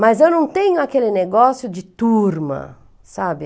Mas eu não tenho aquele negócio de turma, sabe?